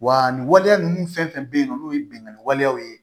Wa nin waleya ninnu fɛn fɛn bɛ yen nɔ n'o ye binnkanni walew ye